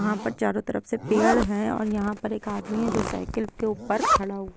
यहाँ पर चारों तरफ से पेड़ है और यहाँ पर एक आदमी है जो साइकिल के ऊपर खड़ा हूआ है।